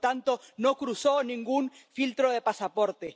Por lo tanto, no cruzó ningún filtro de pasaporte.